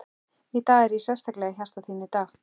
Í dag, er hann sérstaklega í hjarta þínu í dag?